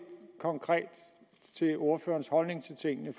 konkret til ordførerens holdning til tingene